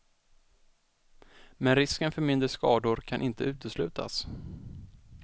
Men risken för mindre skador kan inte uteslutas.